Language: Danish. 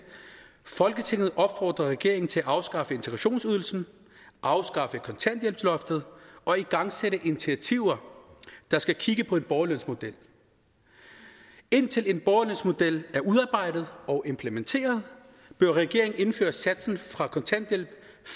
folketinget opfordrer regeringen til at afskaffe integrationsydelsen afskaffe kontanthjælpsloftet og igangsætte initiativer der skal kigge på en borgerlønsmodel indtil en borgerlønsmodel er udarbejdet og implementeret bør regeringen indføre satsen fra kontanthjælp